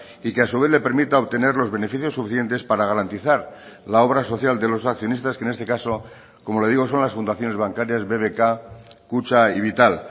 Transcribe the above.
y que a su vez le permita obtener los beneficios suficientes para garantizar la obra social de los accionistas que en este caso como le digo son las fundaciones bancarias bbk kutxa y vital